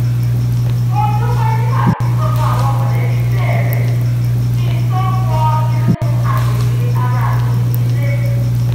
mo dúpẹ́ nígbà tí gbogbo àwọn mọ̀lẹ́bí bèrè kí n tó wọ inú agbègbè ara mi nílé